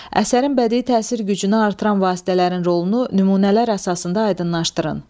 Əsərin bədii təsir gücünü artıran vasitələrin rolunu nümunələr əsasında aydınlaşdırın.